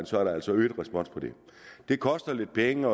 så er der altså øget respons på det det koster lidt penge